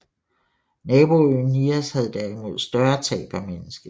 Naboøen Nias havde derimod større tab af menneskeliv